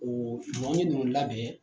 O b'o labɛn